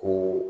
Ko